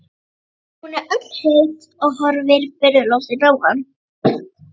Hún er öll heit og horfir furðulostin á hann.